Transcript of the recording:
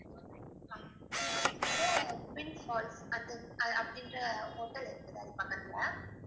twin falls அந்த~ அப்படிங்கிற hotel இருக்குது அது பக்கத்துல